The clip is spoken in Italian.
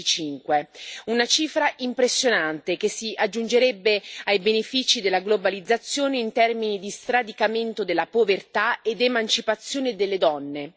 2025. Una cifra impressionante, che si aggiungerebbe ai benefici della globalizzazione in termini di sradicamento della povertà ed emancipazione delle donne.